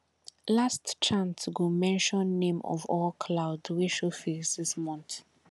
last chant go mention name of all cloud wey show face this month